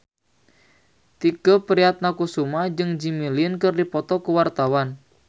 Tike Priatnakusuma jeung Jimmy Lin keur dipoto ku wartawan